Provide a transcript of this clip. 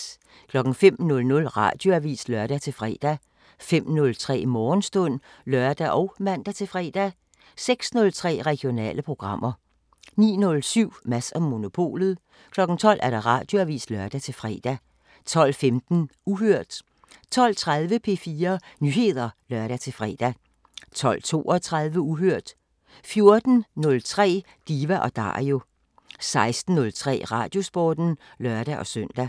05:00: Radioavisen (lør-fre) 05:03: Morgenstund (lør og man-fre) 06:03: Regionale programmer 09:07: Mads & Monopolet 12:00: Radioavisen (lør-fre) 12:15: Uhørt 12:30: P4 Nyheder (lør-fre) 12:32: Uhørt 14:03: Diva & Dario 16:03: Radiosporten (lør-søn)